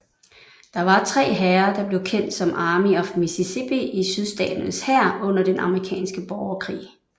Der var tre hære der blev kendt som Army of Mississippi i Sydstaternes hær under den amerikanske borgerkrig